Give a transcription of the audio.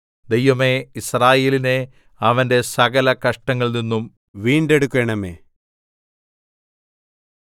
ദൈവമേ യിസ്രായേലിനെ അവന്റെ സകലകഷ്ടങ്ങളിൽനിന്നും വീണ്ടെടുക്കണമേ